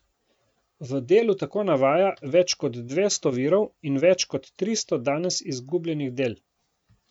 V delu tako navaja več kot dvesto virov in več kot tristo danes izgubljenih del.